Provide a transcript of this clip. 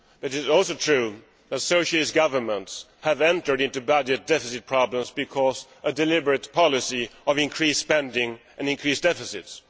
It is also true that Socialist governments have entered into budget deficit problems because of a deliberate policy of increased spending and increased deficits.